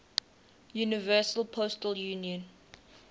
universal postal union